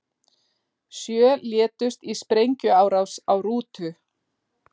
Sjö létust í sprengjuárás á rútu